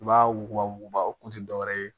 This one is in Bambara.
I b'a wuguba wuguba o kun ti dɔwɛrɛ ye